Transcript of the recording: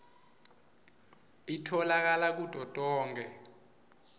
itfolakale kuto tonkhe